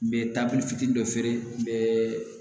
N bɛ taabi fitinin dɔ feere n bɛ